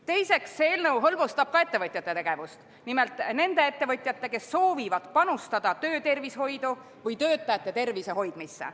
Teiseks, see eelnõu hõlbustab ka ettevõtjate tegevust, nimelt nende ettevõtjate tegevust, kes soovivad panustada töötervishoidu või töötajate tervise hoidmisse.